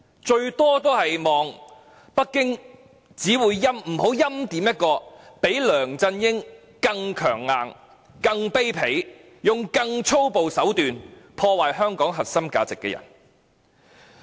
最多只能期望北京不要欽點一個較梁振英更強硬、更卑鄙，用更粗暴手段破壞香港核心價值的人。